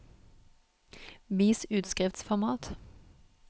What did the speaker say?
Vis utskriftsformat